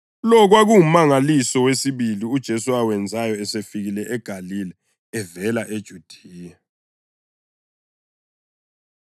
Lo kwakungumangaliso wesibili uJesu awenzayo esefikile eGalile evela eJudiya.